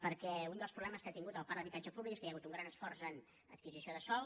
perquè un dels problemes que ha tingut el parc d’habitatge públic és que hi ha hagut un gran esforç en adquisició de sòl